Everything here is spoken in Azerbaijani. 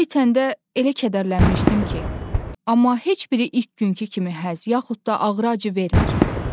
O itəndə elə kədərlənmişdim ki, amma heç biri ilk günkü kimi həz yaxud da ağrı acı vermir.